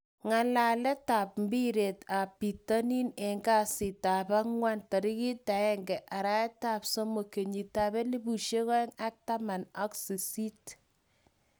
ngalaletap mbiret ap pitonin en kasitap angwan 01.03.2018.